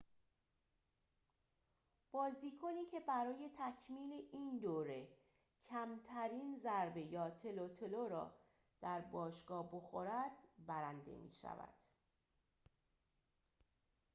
بازیکنی که برای تکمیل این دوره کمترین ضربه یا تلوتلو را در باشگاه بخورد برنده می شود